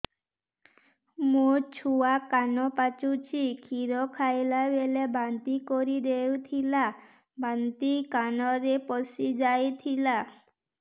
ମୋ ଛୁଆ କାନ ପଚୁଛି କ୍ଷୀର ଖାଇଲାବେଳେ ବାନ୍ତି କରି ଦେଇଥିଲା ବାନ୍ତି କାନରେ ପଶିଯାଇ ଥିଲା